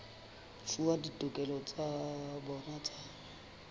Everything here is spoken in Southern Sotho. fuwa ditokelo tsa bona tsa